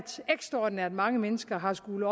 ekstraordinært mange mennesker har skullet